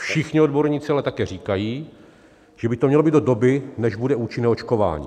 Všichni odborníci ale také říkají, že by to mělo být do doby, než bude účinné očkování.